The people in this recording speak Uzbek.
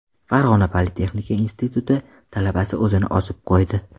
Farg‘ona Politexnika instituti talabasi o‘zini osib qo‘ydi.